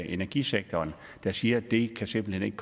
i energisektoren der siger at det simpelt hen ikke